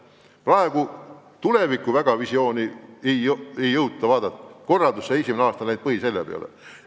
Praegu tulevikuvisiooni ei jõuta väga vaadata, esimene aasta on kulunud korraldustöö peale.